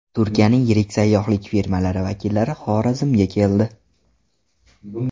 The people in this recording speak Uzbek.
Turkiyaning yirik sayyohlik firmalari vakillari Xorazmga keldi.